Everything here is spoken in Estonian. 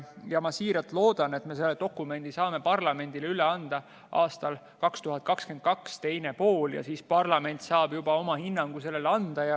Ma siiralt loodan, et me saame selle dokumendi parlamendile üle anda 2022. aasta teises pooles ja siis parlament saab sellele juba oma hinnangu anda.